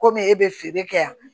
Komi e bɛ feere kɛ yan